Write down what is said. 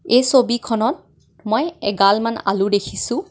এই ছবিখনত মই এগালমান আলু দেখিছোঁ.